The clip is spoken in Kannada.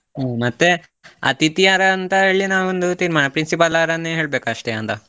ಹ್ಮ್ ಮತ್ತೆ ಅತಿಥಿ ಯಾರಂತ ಹೇಳಿ ನಾವೊಂದು ತೀರ್ಮಾನ principal ಅವರನ್ನೆ ಹೇಳ್ಬೇಕು ಅಷ್ಟೇ ಅಂತ.